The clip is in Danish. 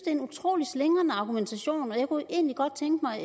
en utrolig slingrende argumentation og jeg kunne egentlig godt tænke mig